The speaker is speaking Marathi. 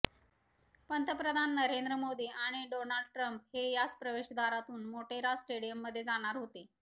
पंतप्रधान नरेंद्र मोदी आणि डोनाल्ड ट्रम्प हे याच प्रवेशद्वारातून मोटेरा स्टेडियममध्ये जाणार होते